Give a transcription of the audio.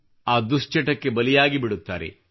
ಆ ದುಶ್ಚಟಕ್ಕೆ ಬಲಿಯಾಗಿಬಿಡುತ್ತಾರೆ